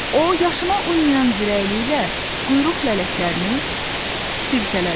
O yaşına uymayan zirəkliyi ilə quyruq lələklərini sirkələdi.